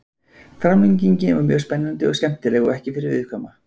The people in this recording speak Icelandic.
Framlengingin var mjög spennandi og skemmtileg og ekki fyrir viðkvæma.